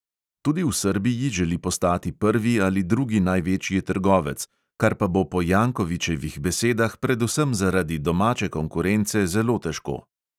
Tudi v srbiji želi postati prvi ali drugi največji trgovec, kar pa bo po jankovićevih besedah predvsem zaradi domače konkurence zelo težko.